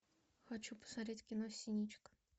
хочу посмотреть кино синичка